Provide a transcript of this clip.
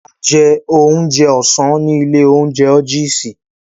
A jẹ oúnjẹ ọ̀sán ní ilé-oúnjẹ ójiisì.